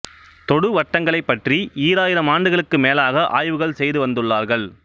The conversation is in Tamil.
தொடு வட்டங்களைப் பற்றி ஈராயிரம் ஆண்டுகளுக்கும் மேலாக ஆய்வுகள் செய்து வந்துள்ளார்கள்